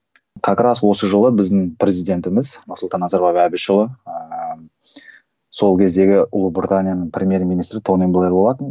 как раз осы жылы біздің президентіміз нұрсұлтан назарбаев әбішұлы ыыы сол кездегі ұлыбританияның премьер министрі тони блэр болатын